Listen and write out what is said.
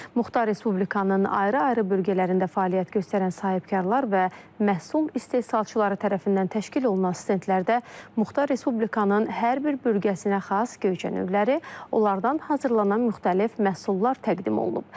Muxtar Respublikanın ayrı-ayrı bölgələrində fəaliyyət göstərən sahibkarlar və məhsul istehsalçıları tərəfindən təşkil olunan stendlərdə Muxtar Respublikanın hər bir bölgəsinə xas Göyçə növləri, onlardan hazırlanan müxtəlif məhsullar təqdim olunub.